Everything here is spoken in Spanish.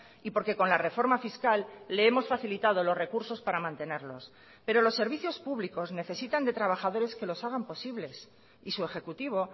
y porque con la reforma fiscal le hemos facilitado los recursos para mantenerlos pero los servicios públicos necesitan de trabajadores que los hagan posibles y su ejecutivo